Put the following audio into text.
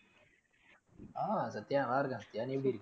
அஹ் சத்யா, நல்லாருக்கேன் சத்யா. நீ எப்படி இருக்கே